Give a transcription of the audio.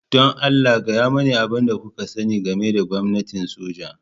Don Allah, gaya mani abin da kuka sani game da gwamnatin soja.